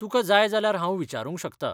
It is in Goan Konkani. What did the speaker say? तुका जाय जाल्यार हांव विचारूंक शकता.